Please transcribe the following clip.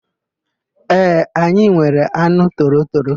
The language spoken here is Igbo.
Ee, anyị nwere anụ torotoro.